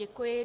Děkuji.